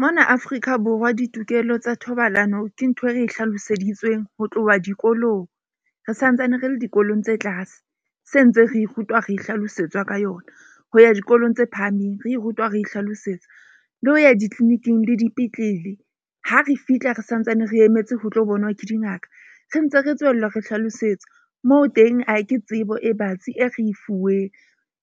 Mona Afrika Borwa ditokelo tsa thobalano ke ntho e re e hlaloseditsweng ho tloha dikolong. Re santsane re le dikolong tse tlase se ntse re rutwa, re hlalosetswa ka yona ho ya dikolong tse phahameng. Re rutwa re hlalosetsa le ho ya ditliliniking le dipetlele. Ha re fihla re santsane re emetse ho tlo bonwa ke dingaka re ntse re tswella, re hlalosetsa moo teng ha ke tsebo e batsi, e re e fuweng,